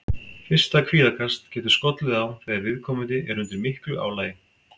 Fyrsta kvíðakast getur skollið á þegar viðkomandi er undir miklu álagi.